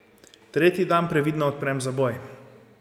Tretji dan previdno odprem zaboj.